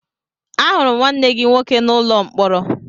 Ahụrụ m nwanne gị nwoke n'ụlọ mkpọrọ